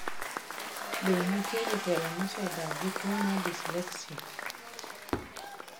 Be nitie jotelo moko mosedak gi tuwo mar dyslexia?